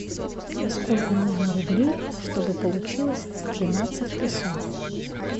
сколько нужно рублей чтобы получилось тринадцать песо